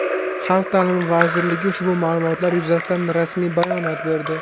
Xalq ta’limi vazirligi ushbu ma’lumotlar yuzasidan rasmiy bayonot berdi .